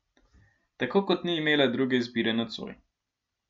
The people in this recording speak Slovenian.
Tako kot ni imela druge izbire nocoj.